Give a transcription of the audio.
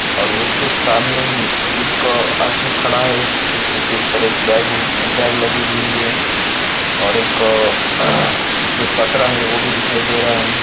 और उसके सामने ही एक आदमी खड़ा है उसके पीठ पर एक बैग बैग लगी हुई है और एक जो पत्रा है वो भी दिखाई दे रहा है।